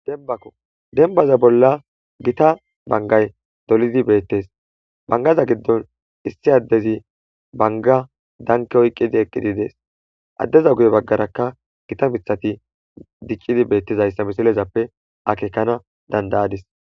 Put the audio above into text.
Dembbaza bolla giita banggay dolidi bettess banggaza giddon issi adezi bangga dankki oyiqqi eqqides adeza guye baggaraka giita miththati diccidi bettess.